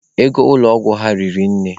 Ego ụlọ ọgwụ ha hiri nne.